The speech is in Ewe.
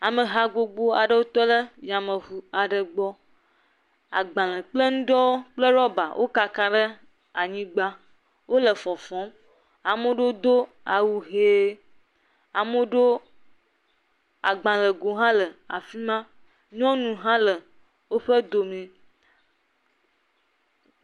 Ameha gbogbo aɖewo tɔ ɖe yameŋu aɖe gbɔ, agbalẽ kple nuɖewo kple rɔba wo kaka ɖe anyigba wole fɔfɔm ame aɖewo do awu hee, ame aɖewo agbalẽ go hã le afi ma. Nyɔnu hã le woƒe dome.